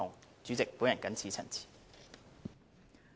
代理主席，我謹此陳辭。